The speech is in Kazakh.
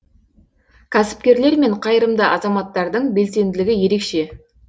кәсіпкерлер мен қайырымды азаматтардың белсенділігі ерекше